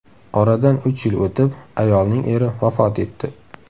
Oradan uch yil o‘tib, ayolning eri vafot etdi.